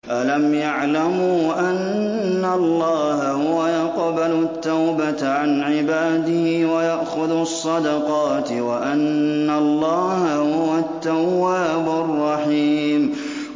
أَلَمْ يَعْلَمُوا أَنَّ اللَّهَ هُوَ يَقْبَلُ التَّوْبَةَ عَنْ عِبَادِهِ وَيَأْخُذُ الصَّدَقَاتِ وَأَنَّ اللَّهَ هُوَ التَّوَّابُ الرَّحِيمُ